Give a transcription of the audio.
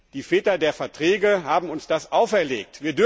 Die Väter der Verträge haben uns das auferlegt.